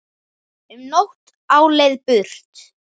Um nótt á leið burt